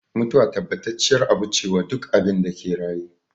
Mutuwa tabbacacciyar abu ce wa duk abinda ke raye